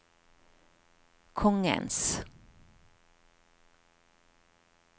kongens